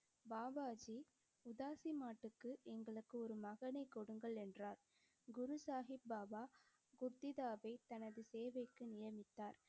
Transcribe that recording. பாபா ஜி உதாசி மாட்டுக்கு எங்களுக்கு ஒரு மகனைக் கொடுங்கள், என்றார். குரு சாஹிப் பாபா குர்திதாவை தனது சேவைக்கு நியமித்தார்.